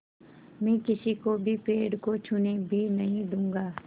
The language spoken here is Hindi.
मैं किसी को भी पेड़ को छूने भी नहीं दूँगा